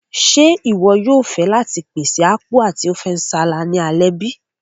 Ṣe iwọ yóò fẹ láti pèsè Apku ati Ofe nsala ni alẹ́ bi?